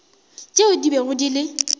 tšeo di bego di le